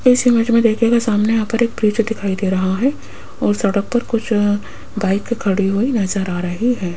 इस इमेज में देखिएगा सामने यहां पर एक ब्रिज दिखाई दे रहा है और सड़क पर कुछ बाइक खड़ी हुई नजर आ रही है।